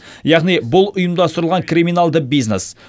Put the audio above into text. яғни бұл ұйымдастырылған криминалды бизнес